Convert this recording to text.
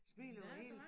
Smilet var hel